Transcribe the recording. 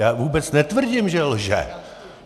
Já vůbec netvrdím, že lže.